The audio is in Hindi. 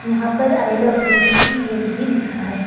यहां पर आई लव बी_पी_सी_एल भी लिखा है।